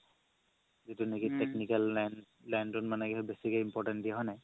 যিতো নেকি technical line line তোত মানে বেচিকে important দিয়ে হয় নে নাই